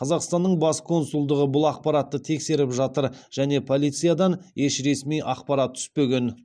қазақстанның бас консулдығы бұл ақпаратты тексеріп жатыр және полициядан еш ресми ақпарат түспеген